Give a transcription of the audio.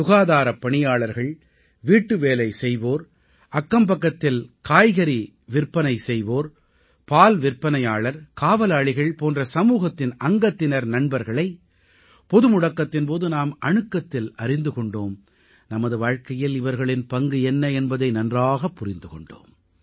சுகாதாரப் பணியாளர்கள் வீட்டுவேலை செய்வோர் அக்கம்பக்கத்தில் காய்கறி விற்பனை செய்வோர் பால் விற்பனையாளர் காவலாளிகள் போன்ற சமூகத்தின் அங்கத்தினர் நண்பர்களை பொது முடக்கத்தின் போது நாம் அணுக்கத்தில் அறிந்து கொண்டோம் நமது வாழ்க்கையில் இவர்களின் பங்கு என்ன என்பதை நன்றாகப் புரிந்து கொண்டோம்